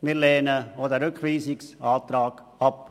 Wir lehnen den Rückweisungsantrag ab.